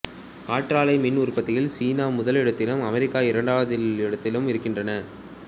காற்றாலை மின் உற்பத்தியில் சீனா முதல் இடத்திலும் அமெரிக்கா இரண்டாம் இடத்திலும் இருக்கின்றன